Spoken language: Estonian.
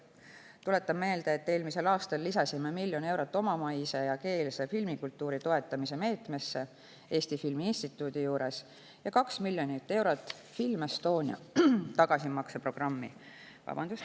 Tuletan meelde, et eelmisel aastal lisasime miljon eurot omamaise ja ‑keelse filmikultuuri toetamise meetmesse Eesti Filmi Instituudi juures ja 2 miljonit eurot Film Estonia tagasimakseprogrammi.